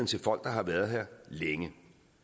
til folk der har været her længe